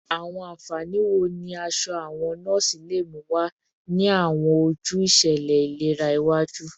Awọn anfani wo ni aṣọ awọn nọọsi le mu wa ni awọn oju iṣẹlẹ ilera iwaju?